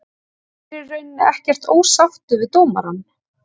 Ég er í rauninni ekkert ósáttur við dómarann.